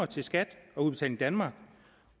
til skat og udbetaling danmark